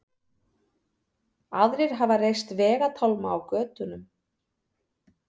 Aðrir hafa reist vegatálma á götunum